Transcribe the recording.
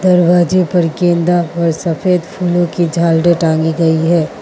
दरवाजे पर गेंदा और सफेद फूलों की झालरे टांगी गई है।